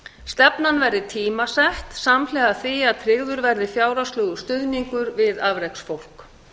stefnan verði tímasett samhliða því að tryggður verði fjárhagslegur stuðningur við afreksfólk